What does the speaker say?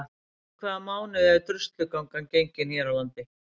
Í hvaða mánuði er Druslugangan gengin hér á landi?